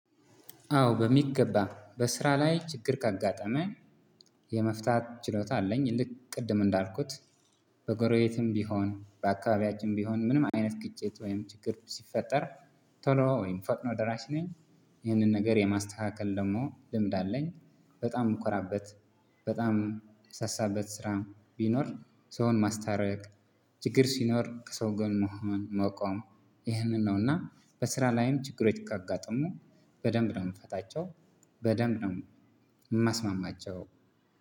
አዎ በሚገባ በስራ ላይ ችግር ካጋጠመኝ የመፍታት ችሎታ አለኝ። ልክ ቅድም እንዳልኩት በጎረቤትም ቢሆን በአካባቢያችንም ቢሆን ምንም አይነት ግጭት ወይም ችግር ሲፈጠር ቶሎ ወይም ፈጥኖ ደራሽ ነኝ። ይህንን ነገር የማስተካከል ደሞ ልምድ አለኝ። በጣም እምኮራበት በጣም እምሳሳበት ስራ ቢኖር ሰውን ማስታረቅ። ችግር ሲኖር ከሰው ጎንን መሆን መቆም ይህንን ነው። እና በስራ ላይም ችግሮች ካጋጠሙ በደንብ ነው እምፈታቸው። በደንብ ነው እማስማማቸው።